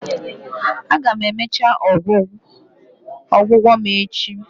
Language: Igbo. Aga m emecha ọgwụgwọ m echi